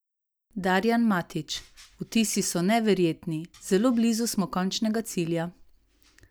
Darijan Matić: "Vtisi so neverjetni, zelo blizu smo končnega cilja.